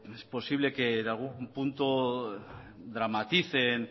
es posible que en algún punto dramaticen